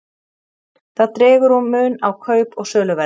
það dregur úr mun á kaup og söluverði